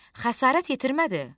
Xəsarət yetirmədi?